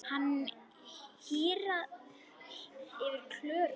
Það hýrnar yfir Klöru.